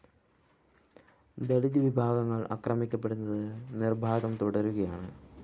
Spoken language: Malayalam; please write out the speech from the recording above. ദളിത് വിഭാഗങ്ങള്‍ ആക്രമിക്കപ്പെടുന്നത് നിര്‍ബാധം തുടരുകയാണ്